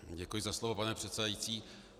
Děkuji za slovo, pane předsedající.